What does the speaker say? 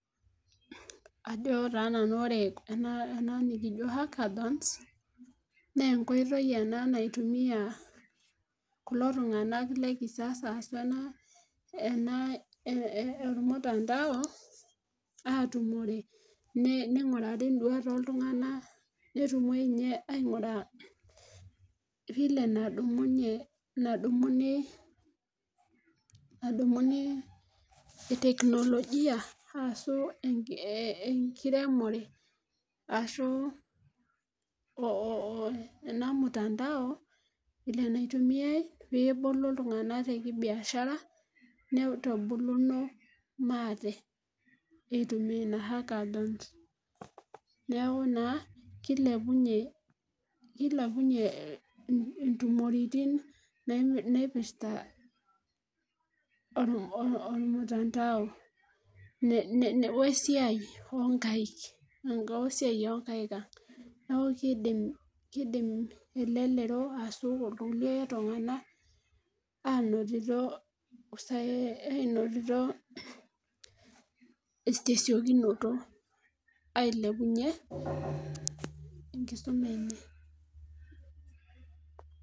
ajo taa nanu ore ena niko hackathons naa enkoitoi ena naitumia kulo tunganak le kisasa, ena olmutandao, aatumore ningurari duat oooltunganak, netumoi ninye aing'uraa vile nadumuni, nadumunyee e teknologia ashu, enkiremore ashu ena mutandao, vile naitumiae pee eboli ena biashara. nitubuluno maate. eitumia ina hackathons neeku naa kilepunye intumoritin, naipirta olmutandao we siai oonkaik, enkae siai oonkaik. neeku kidim elelro ashu irkulie tunganak aanotito, tesiokinoto. ailepunye enkisuma enye.